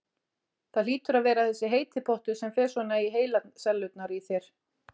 Það hlýtur að vera þessi heiti pottur sem fer svona með heilasellurnar í þér.